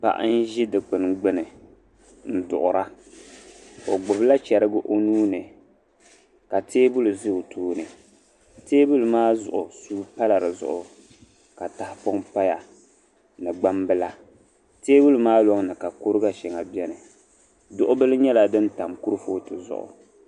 Paɣa n-ʒi dikpini gbinni un duɣira. O gbibi la cherigi o nuu ni ka tabili za o tooni. Tabili maa zuɣu suu pa la di zuɣu ka tahipɔŋ paya bi gbambila. Tabili maa lɔŋ ni ka kuriga shɛŋa bieni. Duɣu bil' nyɛla din tam kurifooti zuɣu.